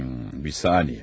Bir saniyə.